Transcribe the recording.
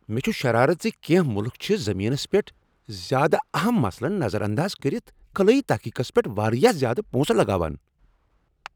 مےٚ چھ شرارت ز کینٛہہ ملک چھ زمینس پیٹھ زیادٕ اہم مسلن نظر انداز کٔرِتھ خلٲیی تحقیقس پیٹھ واریاہ زیادٕ پونسہٕ لگاوان۔